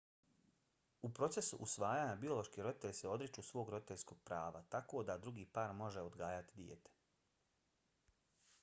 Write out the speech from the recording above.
u procesu usvajanja biološki roditelji se odriču svog roditeljskog prava tako da drugi par može odgajati dijete